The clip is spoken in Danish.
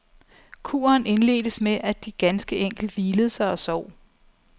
Kuren indledtes med, at de ganske enkelt hvilede sig og sov.